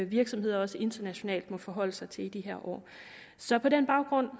virksomheder også internationalt må forholde sig til i de her år så på den baggrund